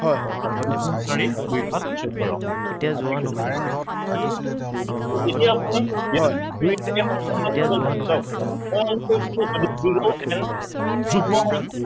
দুই দুগুণ চাৰি, দুই সাত চৌধ্য়, ঠিক আছে so এতিয়া আপুনি ইয়াত দুইৰে এই সংখ্য়াটো যাব জানো। চাওক মই আগতে কৈছিলো zero and যুগ্ম সংখ্য়া